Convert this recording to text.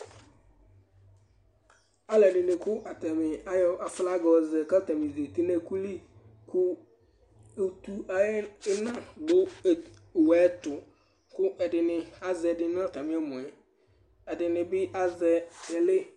alɛdɩnɩ awɔ aflaga yɔzɛ kʊ atanɩ kékélé kʊlɩ kʊ ʊtʊayɛna dʊ owʊɛtʊ kʊazɛdɩnɩatamɩ ɛmɔɛ ɛdɩnɩbɩ azɛ télé